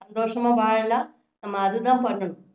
சந்தோஷமா வாழலாம் நம்ம அது தான் பண்ணணும்